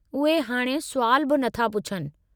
उहे हाणे सुवाल बि नथा पुछनि।